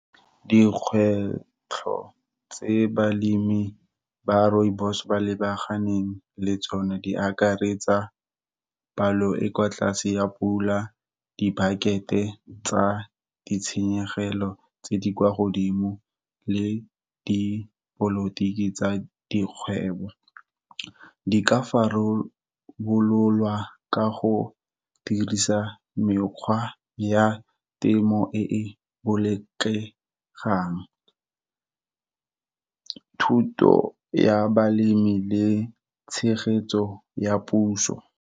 Dikgwetlho tse balemi ba rooibos ba lebaganeng le tsone, di akaretsa palo e kwa tlase ya pula, di-bucket-e tsa ditshenyegelo tse di kwa godimo, le dipolotiki tsa dikgwebo. Di ka farololwa ka go dirisa mekgwa ya temo e e boletlegang, thuto ya balemi le tshegetso ya puso.